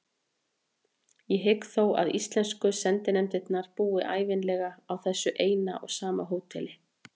Ég hygg þó að íslensku sendinefndirnar búi ævinlega á þessu eina og sama hóteli.